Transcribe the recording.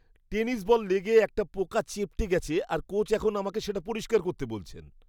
Tennis ball লেগে একটা পোকা চেপ্টে গেছে আর কোচ এখন আমাকে সেটা পরিষ্কার করতে বলছেন।